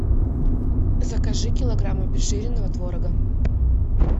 закажи килограмм обезжиренного творога